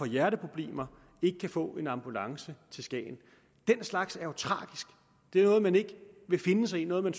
hjerteproblemer og få en ambulance til skagen den slags er jo tragisk det er noget man ikke vil finde sig i noget man